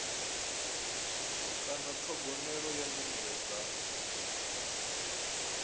kana ṱhogomelo ya nyimele dza